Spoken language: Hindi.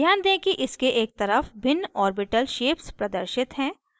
ध्यान दें कि इसके एक तरफ भिन्न orbital shapes प्रदर्शित हैं